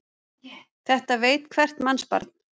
Þetta veit hvert mannsbarn.